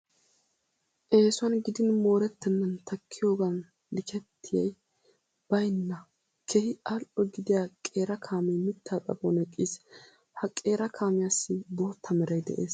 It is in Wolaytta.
Eesuwan gidin moorettennan takkiyogan likettiyay baynna keehi al"o gidiya qeera kaamee mittaa xaphon eqqiis. Ha qeera kaamiyassi bootta meray de'es.